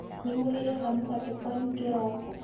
nĩ mũriaga mũgate kwanyu kĩrooko?